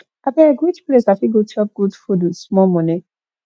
abeg which place i fit dey chop good food with small money